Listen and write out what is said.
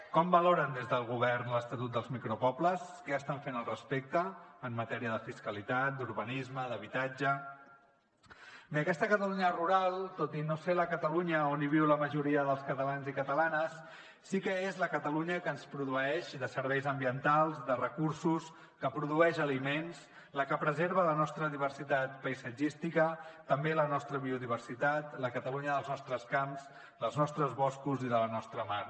com valoren des del govern l’estatut dels micropobles què estan fent al respecte en matèria de fiscalitat d’urbanisme d’habitatge bé aquesta catalunya rural tot i no ser la catalunya on viu la majoria dels catalans i catalanes sí que és la catalunya que ens proveeix de serveis ambientals de recursos que produeix aliments la que preserva la nostra diversitat paisatgística també la nostra biodiversitat la catalunya dels nostres camps dels nostres boscos i de la nostra mar